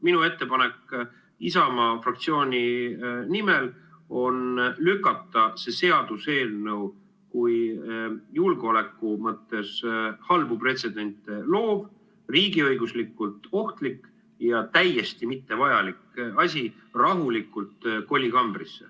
Minu ettepanek Isamaa fraktsiooni nimel on lükata see seaduseelnõu kui julgeoleku mõttes halbu pretsedente loov, riigiõiguslikult ohtlik ja täiesti mittevajalik asi rahulikult kolikambrisse.